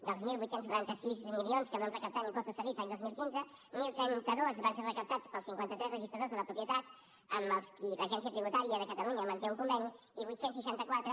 dels divuit noranta sis milions que vam recaptar en impostos cedits l’any dos mil quinze deu trenta dos van ser recaptats pels cinquanta tres registradors de la propietat amb els quals l’agència tributària de catalunya manté un conveni i vuit cents i seixanta quatre